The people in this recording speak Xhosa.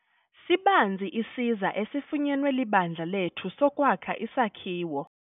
Sibanzi isiza esifunyenwe libandla lethu sokwakha isakhiwo.